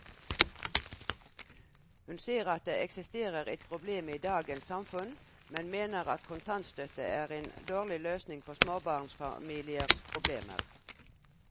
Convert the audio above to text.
Hun ser at det eksisterer et problem i dagens samfunn, men mener at kontantstøtte er en dårlig løsning på småbarnsfamiliers problemer.